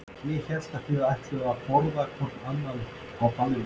Ég hélt að þið ætluðuð að borða hvort annað á ballinu.